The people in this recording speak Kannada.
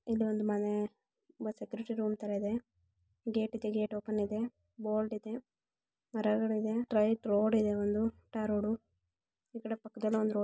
ಇಲ್ಲೊಂದು ಮನೆ ಇದೆ ಸೆಕ್ಯೂರಿಟಿ ರೂಮ್ ತರ ಇದೆ ಗೇಟ್ ಇದೆ ಗೇಟ್ ಓಪನ್ ಇದೆ ಬೋರ್ಡ್ ಇದೆ ಮರಗಳಿದೆ